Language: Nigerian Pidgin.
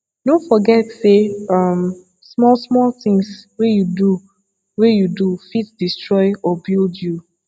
no forget say um small small things wey you do wey you do fit destroy or build you